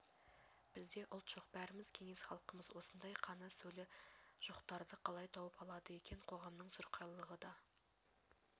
бізде ұлт жоқ бәріміз кеңес халқымыз осындай қаны-сөлі жоқтарды қалай тауып алады екен қоғамның сұрқайылығы да